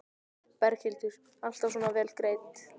Berghildur: Alltaf svona vel greidd?